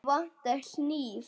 Mig vantar hníf.